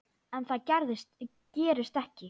En það gerist ekki.